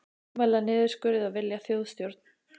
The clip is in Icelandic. Mótmæla niðurskurði og vilja þjóðstjórn